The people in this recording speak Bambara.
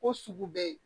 Ko sugu bɛ yen